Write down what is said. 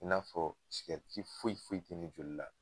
I n'a fɔ foyi foyi ti ne joli la